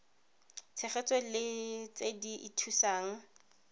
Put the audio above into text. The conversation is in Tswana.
tshegetso le tse di ithusang